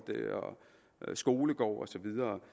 skolegårde og så videre